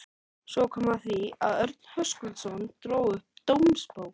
Svo kom að því að Örn Höskuldsson dró upp dómsbók